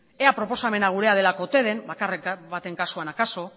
ea proposamena gurea delako ote den bakarren baten kasuan akaso